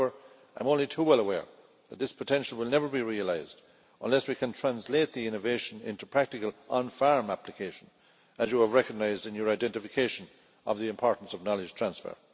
However, I am only too well aware that this potential will never be realised unless we can translate the innovation into practical on farm application, as you have recognised in your identification of the importance of knowledge transfer.